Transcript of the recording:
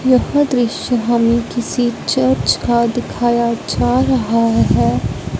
यह दृश्य हमे किसी चर्च का दिखाया जा रहा है।